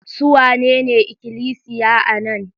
Su wanene ikilisiya a nan?